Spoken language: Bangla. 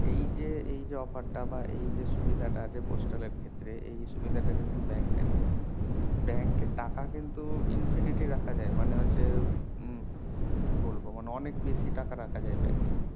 এই যে এই যে offer টা বা সুবিধাটা আছে postal এর ক্ষেত্রে এই সুবিধা টা কিন্তু bank এ নেই bank এ টাকা কিন্তু infinity রাখা যাই মানে হচ্ছে উম কি বলবো মানে অনেক বেশি টাকা রাখা যায় bank এ